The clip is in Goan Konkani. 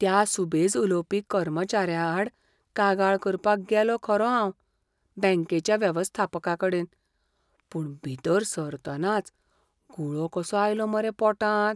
त्या सुबेज उलोवपी कर्मचाऱ्याआड कागाळ करपाक गेलों खरों हांव बॅंकेच्या वेवस्थापकाकडेन, पूण भितर सरतनाच गुळो कसो आयलो मरे पोटांत.